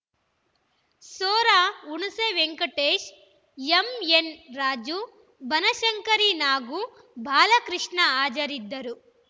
ಸೊರ ಹುಣೇಸೆ Venkatesh M N Raju Banashankari Nagu Balakrishna ಹಾಜರಿದ್ದರು